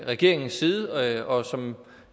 regeringens side og som